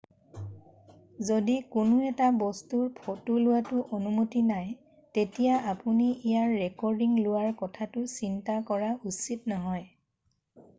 যদি কোনো এটা বস্তুৰ ফ'টো লোৱাটো অনুমতি নাই তেতিয়া আপুনি ইয়াৰ ৰেকৰ্ডিং লোৱাৰ কথাটো চিন্তা কৰা উচিত নহয়